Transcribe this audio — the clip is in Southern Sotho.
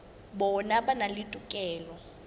bona ba na le tokelo